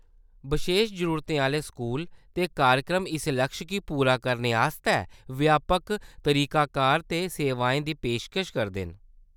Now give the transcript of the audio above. बशेश जरूरतें आह्‌‌‌ले स्कूल ते कार्यक्रम इस लक्ष गी पूरा करने आस्तै व्यापक तरीकाकार ते सेवाएं दी पेशकश करदे न।